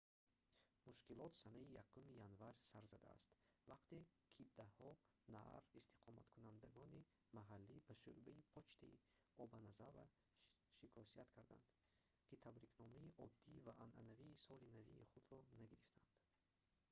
мушкилот санаи 1-уми январ сар задааст вақте кидаҳҳо наар истиқоматкунандагони маҳаллӣ ба шӯъбаи почтаи обаназава шикосят карданд ки табрикномаи оддӣ ва анъанавии соли навии худро нагирифтаанд